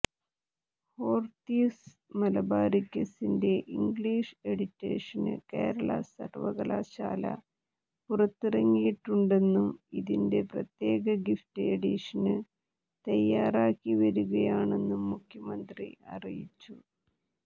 ഹോറിത്തൂസ് മലബാറിക്കസിന്റെ English edition Kerala സര്വകലാശാല പുറത്തിറക്കിയിട്ടുണ്ടെന്നും ഇതിന്റെ പ്രത്യേക ഗിഫ്റ്റ് എഡിഷന് തയാറാക്കി വരുകയാണെന്നും മുഖ്യമന്ത്രി അറിയിച്ചു